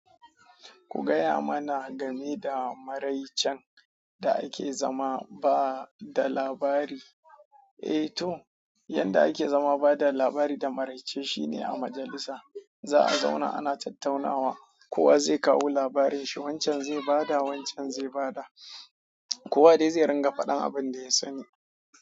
Ku gaya mana game da maraicen da ake zama ba da labari, eh to, yanda ake zama bada labari da maraice shine a majalissa za'a zauna ana tattaunawa kowa zai kawo labarin shi, wancan zai bada, wancan zai bada. Kowa dai zai ringa faɗan abin da ya sani.